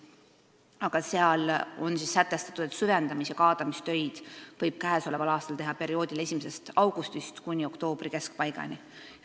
Aga seal on sätestatud, et süvendamis- ja kaadamistöid võib sellel aastal teha perioodil 1. augustist kuni oktoobri keskpaigani.